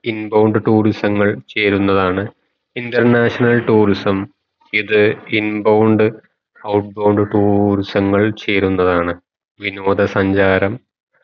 in bound tourism ങ്ങൾ ചേരുന്നതാണ് international tourism ഇത് in bound out bond tourism ങ്ങൾ ചേരുന്നതാണ് വിനോദ സഞ്ചാരം